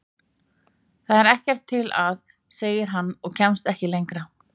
Þetta er ekkert til að. segir hann og kemst ekki lengra.